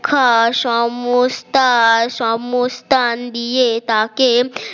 খাসমস্তা সিমোস্তান দিয়ে তাকে